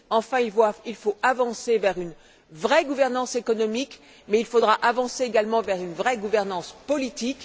Enfin, il faut avancer vers une vraie gouvernance économique, mais il faudra progresser également vers une vraie gouvernance politique.